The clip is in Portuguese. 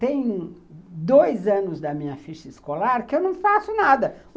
Tem dois anos da minha ficha escolar que eu não faço nada.